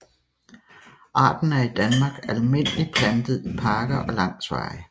Arten er i Danmark almindeligt plantet i parker og langs veje